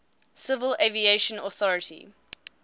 civil aviation authority